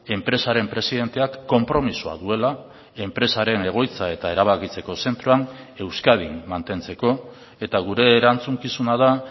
enpresaren presidenteak konpromisoa duela enpresaren egoitza eta erabakitzeko zentroan euskadin mantentzeko eta gure erantzukizuna da